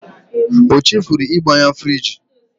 O chefuru ịgbanye friji.